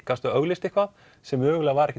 gastu auglýst eitthvað sem mögulega var